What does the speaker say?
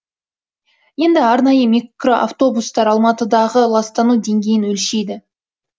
енді арнайы микроавтобустар алматыдағы ластану деңгейін өлшейді